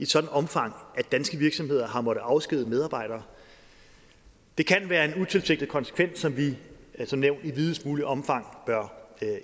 sådant omfang at danske virksomheder har måttet afskedige medarbejdere det kan være en utilsigtet konsekvens som vi som nævnt i videst muligt omfang bør